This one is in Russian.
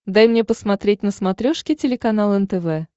дай мне посмотреть на смотрешке телеканал нтв